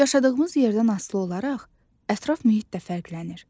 Yaşadığımız yerdən asılı olaraq ətraf mühit də fərqlənir.